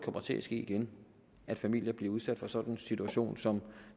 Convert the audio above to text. kommer til at ske igen at familier bliver udsat for sådan en situation som